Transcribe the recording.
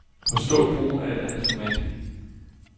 Forstå brugen af et andet format.